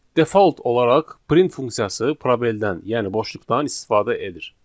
Default olaraq print funksiyası probeldən, yəni boşluqdan istifadə edir.